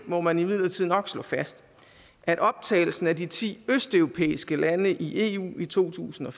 må man imidlertid nok slå fast at optagelsen af de ti østeuropæiske lande i eu i to tusind og